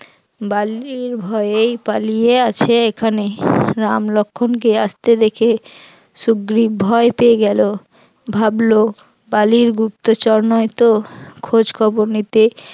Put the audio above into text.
বালির ভয়েই পালিয়ে আছে এখানে, রাম লক্ষণ কে আসতে দেখে সুগ্রীব ভয় পেয়ে গেল, ভাবলো বালির গুপ্তচর নয় তো? খোঁজখবর নিতে